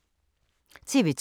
TV 2